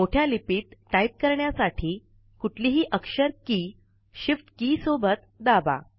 मोठ्या लिपीत टाईप करण्यासाठी कुठलीही अक्षर के shift के सोबत दाबा